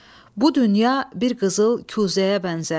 Bu dünya bir qızıl kuzəyə bənzər.